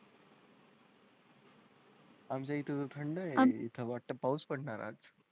आमच्या इथे थंड आहे तिथं वाटतं पाऊस पडणारच.